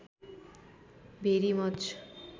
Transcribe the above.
भेरि much